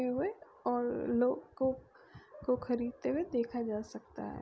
हुए और लोग को को खरीदते हुए देखा जा सकता है।